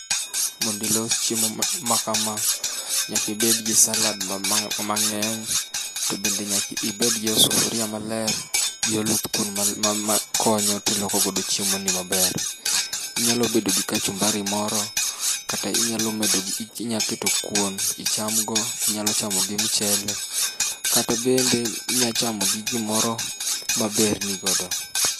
Mondo ilos chiemo makam, nyaka ibed gi salad mama mang'eny, to bende nyaka ibed gi osufuria maler, gi oluthkuon ma konyo tiloko godo chiemoni maber. Inyalo bedo gi kachumbari moro kata inyalo medo gi inyalo keto kuon icham bo, inyalo chamo gi mchele, kata bende inyalo chamo gi gimoro ma berni godo.